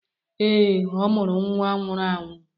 Ee, ọ mụrụ nwa nwụrụ anwụ.